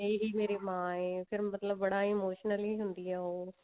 ਇਹੀ ਮੇਰੀ ਮਾਂ ਹੈ ਫ਼ੇਰ ਮਤਲਬ ਬੜਾ ਹੀ emotionally ਹੁੰਦੀ ਆ ਉਹ